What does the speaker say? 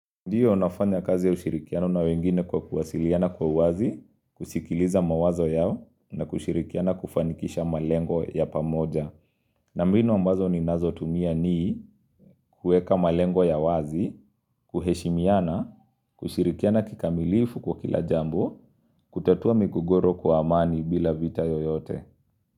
Ndiyo nafanya kazi ya ushirikiano na wengine kwa kuwasiliana kwa wazi, kusikiliza mawazo yao, na kushirikiana kufanikisha malengo ya pamoja. Na mbinu ambazo ninazotumia ni kueka malengo ya wazi, kuheshimiana, kushirikiana kikamilifu kwa kilajambo, kutatua migogoro kwa amani bila vita yoyote.